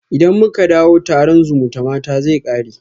Idan muka dawo, taron zumutamata zai kare